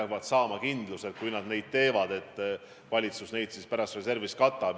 Nad peavad saama kindluse, et kui nad midagi teevad, siis valitsus pärast reservist katab need kulutused.